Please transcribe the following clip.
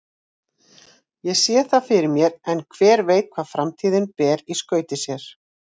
Ég sé það fyrir mér en hver veit hvað framtíðin ber í skauti sér.